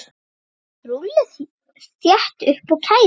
Rúllið þétt upp og kælið.